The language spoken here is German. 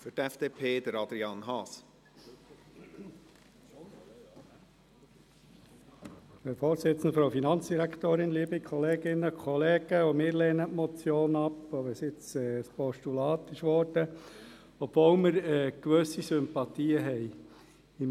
Auch wir lehnen die Motion ab, auch wenn sie inzwischen zu einem Postulat geworden ist, und obwohl wir gewisse Sympathien haben.